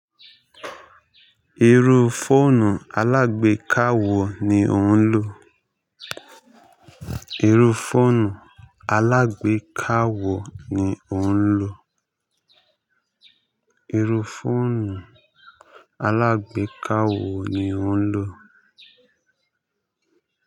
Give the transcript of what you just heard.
Irú fóònù alágbeéka wo ni ó ń lò? Iru foonù alágbèéká wo ni òuń lò?